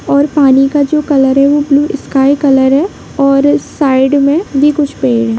--और पानी का जो कलर उसमें स्काई कलर और साइड में भी कुछ पेड़ हैं।